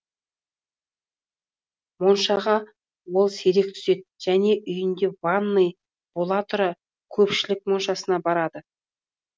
моншаға ол сирек түседі және үйінде ванный бола тұра көпшілік моншасына барады